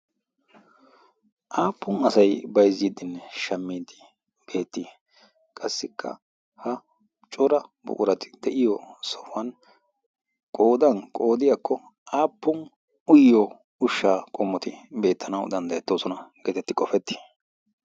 aappun asai baizziddin shamiiti beettii qassikka ha cora buqurati de'iyo sohuwan qoodan qoodiyaakko aappun uyyo ushshaa qommoti beettanau danddayettoosona' geetetti qofetti?